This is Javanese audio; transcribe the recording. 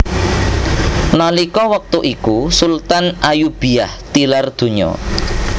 Nalika wektu iku Sultan Ayyubiyah tilar donya